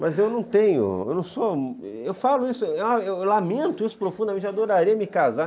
Mas eu não tenho, eu não sou, eu falo isso, ah, eu lamento isso profundamente, eu adoraria me casar.